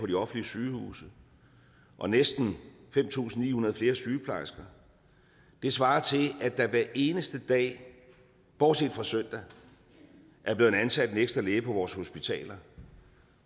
de offentlige sygehuse og næsten fem tusind ni hundrede flere sygeplejersker det svarer til at der hver eneste dag bortset fra søndag er blevet ansat en ekstra læge på vores hospitaler